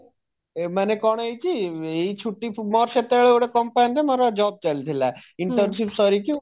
ମାନେ କଣ ହେଇଛି ଏଇ ଛୁଟି ସ ମୋର ସେତେବେଳେ ଗୋଟେ company ରେ job ଚାଲିଥିଲା internship ସରିକି